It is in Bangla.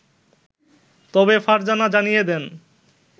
তবে ফারজানা জানিয়ে দেন